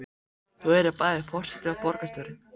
Þú yrðir bæði forseti og borgarstjóri?